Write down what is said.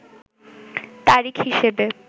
তারিখ হিসেবে